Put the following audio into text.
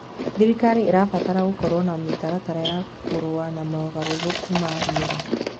Thirikari ĩrabatara gũkorwo na mĩtaratara ya kũrũa na mogarũrũku ma rĩera.